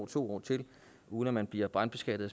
to år til uden at blive brandbeskattet